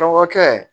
Dɔgɔkɛ